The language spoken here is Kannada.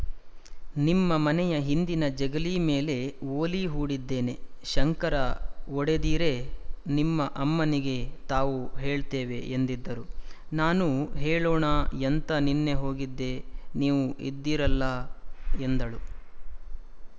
ನಿಮ್ಮ ಮನೆಯ ಹಿಂದಿನ ಜಗಲೀ ಮೇಲೇ ಒಲೀ ಹೂಡಿದ್ದೇನೆ ಶಂಕರ ಒಡೆದೀರೇ ನಿಮ್ಮ ಅಮ್ಮನಿಗೆ ತಾವು ಹೇಳ್ತೇವೆ ಎಂದಿದ್ದರು ನಾನೂ ಹೇಳೋಣ ಎಂತ ನಿನ್ನೆ ಹೋಗಿದ್ದೆ ನೀವು ಇದ್ದಿರಲ್ಲ ಎಂದಳು